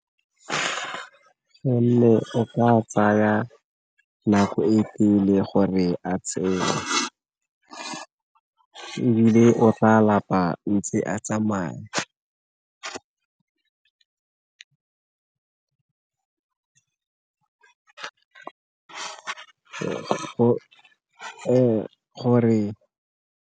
Gonne o tla tsaya nako e gore a tshele ebile o re a lapa ntse a tsamaya gore.